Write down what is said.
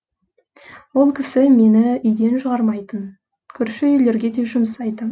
ол кісі мені үйден шығармайтын көрші үйлерге де жұмсайтын